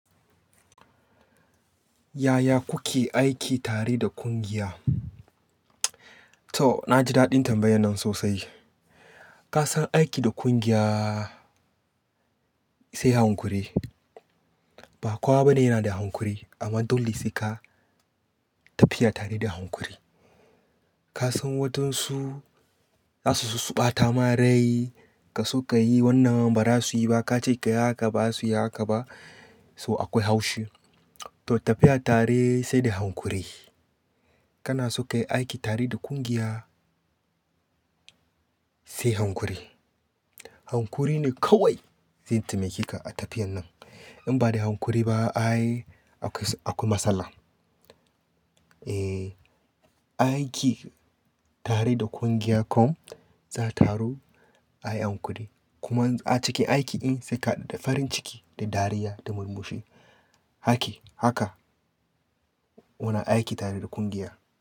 Yaya kuke aiki tare da ƙungiya? To, na ji daɗin tambayan nan sosai. Ka san aiki da ƙungiya sai hankuri. Ba kowa bane yana da hankuri amma dole sai ka tafiya tare da hankuri. Ka san wadansu za su so su ɓata ma rai, ka so ka yi wannan ba za su yi ba, ka ce ka yi haka ba za su yi haka ba, so akwai haushi. To tafiya tare sai da hankuri. Kana so ka yi aiki tare da ƙungiya sai hankuri. Hankuri ne kawai zai taimake ka a tafiyan nan. In ba da hankuri ba, ayy, akwai matsala. Eh, aiki tare da ƙungiya kom za taro ayi hankuri. Kuma a cikin aiki in sai ka da farin ciki da dariya da murmushi. Aiki, haka muna aiki tare da ƙungiya.